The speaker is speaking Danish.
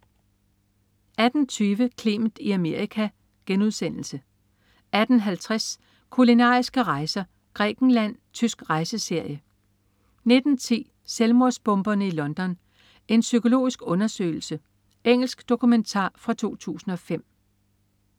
18.20 Clement i Amerika* 18.50 Kulinariske rejser: Grækenland. Tysk rejseserie 19.10 Selvmordsbomberne i London. En psykologisk undersøgelse. Engelsk dokumentar fra 2005